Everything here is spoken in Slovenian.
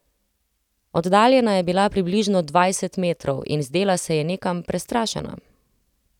Oddaljena je bila približno dvajset metrov in zdela se je nekam prestrašena.